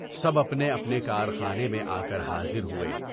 سب اپنے اپنے کارخانے میں آ کر حاضر ہوئے۔